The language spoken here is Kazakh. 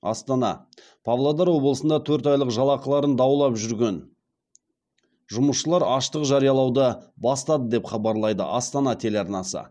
астана павлодар облысында төрт айлық жалақыларын даулап жүрген жұмысшылар аштық жариялауды бастады деп хабарлайды астана телеарнасы